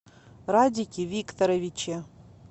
радике викторовиче